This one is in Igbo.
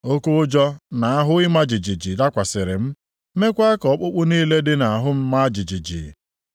oke ụjọ na ahụ ịma jijiji dakwasịrị m, meekwa ka ọkpụkpụ niile dị nʼahụ m maa jijiji.